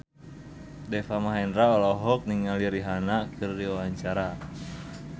Deva Mahendra olohok ningali Rihanna keur diwawancara